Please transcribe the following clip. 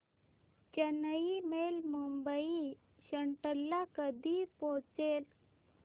Chennai Mail Mumbai Central ला कधी पोहचेल